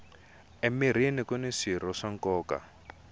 emirhini kuni swirho swa nkoka